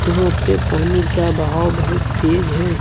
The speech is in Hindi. यहां पे पानी का बहाव बहुत तेज है।